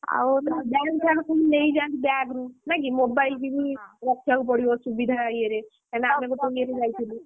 ଗହଣା ପହଣା ସବୁ ନେଇ ଯାଆନ୍ତି bag ରୁ ନା କି mobile କିବି ରଖିବାକୁ ପଡିବ ସୁବିଧା ଇଏରେ କାହିଁକି ନା ଆମେ ତ ପ୍ରଥମେ ଯାଇଥିଲୁ,